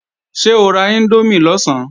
Ṣé o ra índómì lọ̀sán?